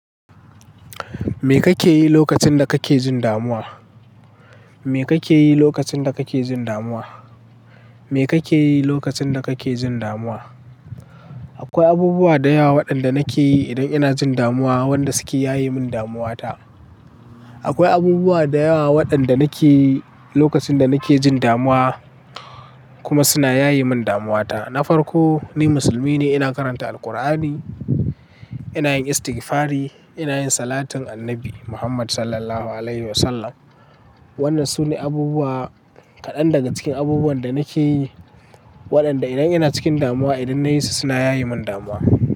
Me kake yi lokacin da kake jin damuwa? Me kake yi lokacin da kake jin damuwa? Me kake yi lokacin da kake jin damuwa? Akwai abubuwa da yawa waɗanda nake yi idan ina jin damuwa wanda suke yaye min damuwata. Akwai abubuwa da yawa waɗanda nake yi lokacin da nake jin damuwa kuma suna yaye min damuwata. Na farko ni musulmi ne, ina karanta Alqur'ani, ina yin istigfari, ina yin salatun Annabi Muhammad Sallallahu Alaihi Wasallam. Wannan sune abubuwa kaɗan daga cikin abubuwan da nake yi waɗanda idan ina cikin damuwa, idan na yi su suna yaye min damuwa.